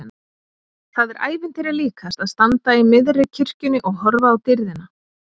Það er ævintýri líkast að standa í miðri kirkjunni og horfa á dýrðina!